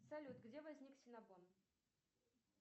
салют где возник синнабон